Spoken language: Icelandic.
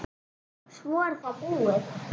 Svo er það búið.